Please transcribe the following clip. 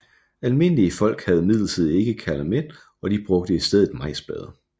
Almindelige folk havde imidlertid ikke kalamet og de brugte i stedet majsblade